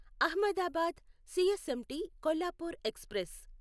Ahmedabad CSMT Kolhapur express